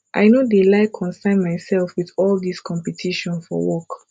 i no dey like consyn myself with all dis competition for work